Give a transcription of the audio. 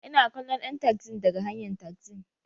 Ina kallon ɗan taxin daga hanyn taxin.